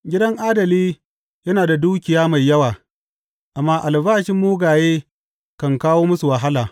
Gidan adali yana da dukiya mai yawa, amma albashin mugaye kan kawo musu wahala.